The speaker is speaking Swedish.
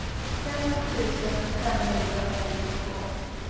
femtio tusen femhundrafemtiotvå